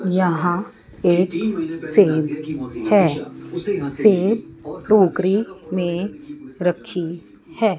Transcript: यहां एक सेव है सेव टोकरी में रखी है।